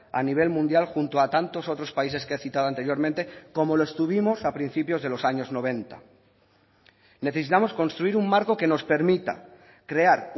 a nivel mundial junto a tantos otros países que he citado anteriormente como lo estuvimos a principios de los años noventa necesitamos construir un marco que nos permita crear